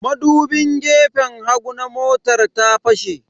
Madubin gefen hagu na motar ta fashe.